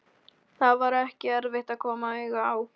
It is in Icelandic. Það var ekki erfitt að koma auga á